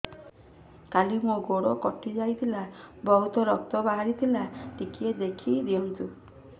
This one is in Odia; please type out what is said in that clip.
କାଲି ମୋ ଗୋଡ଼ କଟି ଯାଇଥିଲା ବହୁତ ରକ୍ତ ବାହାରି ଥିଲା ଟିକେ ଦେଖି ଦିଅନ୍ତୁ